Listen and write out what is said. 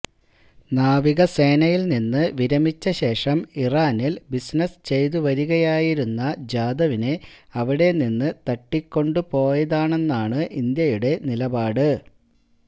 നാവികസേനയിൽ നിന്നു വിരമിച്ചശേഷം ഇറാനിൽ ബിസിനസ് ചെയ്തുവരികയായിരുന്ന ജാദവിനെ അവിടെനിന്ന് തട്ടിക്കൊണ്ടുപോയതാണെന്നാണ് ഇന്ത്യയുടെ നിലപാട്